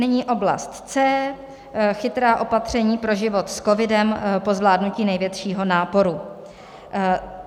Nyní oblast C - chytrá opatření pro život s covidem po zvládnutí největšího náporu.